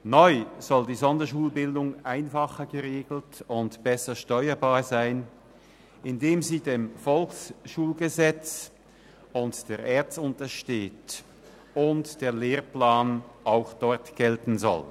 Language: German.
Neu soll die Sonderschulbildung einfacher geregelt und besser steuerbar sein, indem sie dem VSG und der ERZ untersteht und der Lehrplan auch dort gelten soll.